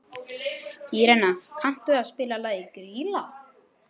Írena, kanntu að spila lagið „Grýla“?